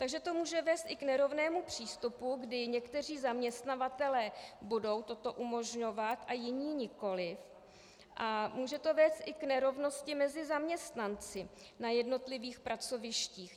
Takže to může vést i k nerovnému přístupu, kdy někteří zaměstnavatelé budou toto umožňovat a jiní nikoliv, a může to vést i k nerovnosti mezi zaměstnanci na jednotlivých pracovištích.